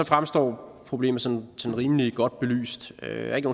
fremstår problemet sådan rimelig godt belyst der er ikke